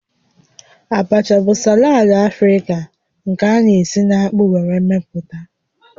Abacha bụ salad Afrịka nke a na-esi na akpu were meputa